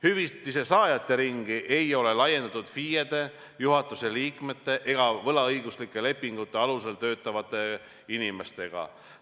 Hüvitise saajate ringi ei ole laiendatud FIE-dele ja juhatuse liikmetele ega võlaõiguslike lepingute alusel töötavatele inimestele.